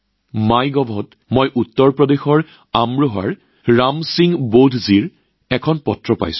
মাইগভত উত্তৰ প্ৰদেশৰ আমৰোহৰ ৰাম সিং বৌধজীৰ পৰা এখন চিঠি পাইছো